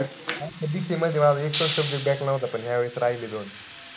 असं कितीय माहितीय माझं एकपण subject back नव्हता. पण या वेळेस राहिले दोन.